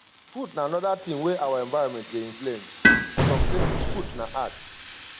food na anoda thing wey our environment dey influence for some places food na art